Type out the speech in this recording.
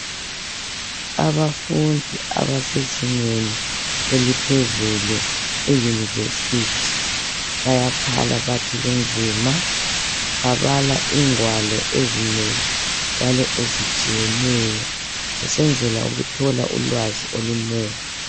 Abafundi abasezingeni eliphezulu, e- university. Bayakhala, bathi kunzima. Babala ingwalo ezinengi njalo ezitshiyeneyo. Besenzela ukuthola ulwazi olunengi. .